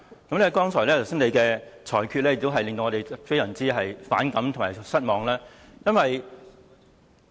主席剛才的裁決，也令我們非常反感和失望。